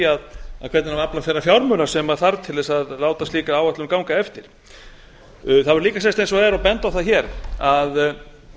hvernig á að afla þeirra fjármuna sem þarf til að lá slíka áætlun ganga eftir það verður líka að segjast eins og er og benda á það að